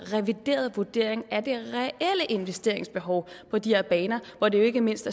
revideret vurdering af det reelle investeringsbehov på de her baner hvor det jo ikke mindst